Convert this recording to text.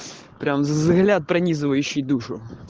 прямо взгляд пронизывающий душу